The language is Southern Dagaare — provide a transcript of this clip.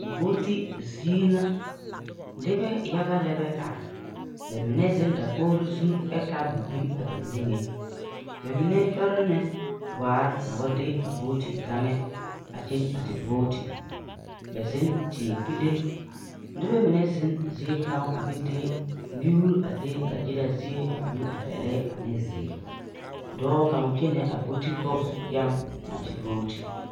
Voti zie na noba yaga lɛ are ba mine zeŋ dakogri zu ɛ taa tabol bilee ba niŋe ba mine kyone la waare ne de a voti gane a kyeŋ a ti voti ba biŋ teɛ puli nebɛ meŋ zeŋ zie ŋa ɛ ba de mie a le dagyera zie a mie ɛ pɛlɛɛ ane ziiri dɔɔ kaŋa kyɛne a voti gane eŋa na ti voti.